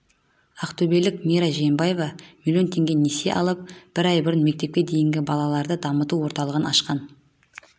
ақтөбелік мира жиенбаева миллион теңге несие алып бір ай бұрын мектепке дейінгі балаларды дамыту орталығын ашқан